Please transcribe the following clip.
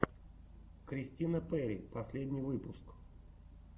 кристина перри последний выпуск